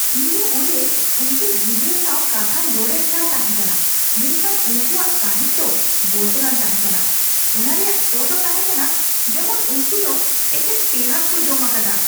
ᱤᱧ ᱫᱚ ᱚᱸᱰᱮ ᱩᱝᱠᱩ ᱜᱤᱫᱨᱟᱹ ᱥᱟᱣ ᱠᱟᱛᱷᱟᱧ ᱨᱚᱲᱮᱫ ᱠᱟᱱ ᱛᱟᱦᱮᱠᱟᱱᱟ ᱢᱮᱱᱠᱷᱟᱱ ᱩᱝᱠᱩᱣᱟᱜ ᱥᱟᱸᱦᱮᱫ ᱫᱚ ᱵᱚᱛᱚᱨᱟᱱ ᱛᱟᱦᱮᱠᱟᱱᱟ ᱾ ᱚᱱᱟ ᱨᱮᱭᱟᱜ ᱥᱚ ᱫᱚ ᱛᱟᱦᱮᱠᱟᱱᱟ ᱡᱮᱢᱚᱱ ᱩᱝᱠᱩ ᱫᱚ ᱮᱠᱮᱱ ᱯᱮᱸᱭᱟᱡ ᱠᱚ ᱡᱚᱢ ᱟᱠᱟᱫᱟ ᱾